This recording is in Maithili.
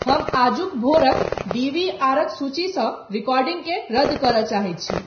हम आजूक भोरक डी . वी . आरक सूची सॅ रिकॉर्डिंगकें रद्द करय चहई छि ।